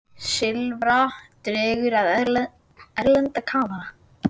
Silfra dregur að erlenda kafara